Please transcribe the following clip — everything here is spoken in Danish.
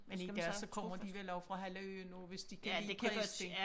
Men i dag så kommer de vel over fra hele øen også hvis de godt kan lide præsten